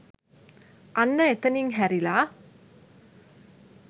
අන්න එතනින් හැරිලා